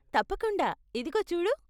తప్పకుండా! ఇదిగో చూడు.